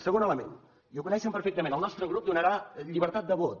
segon element i ho coneixen perfectament el nostre grup donarà llibertat de vot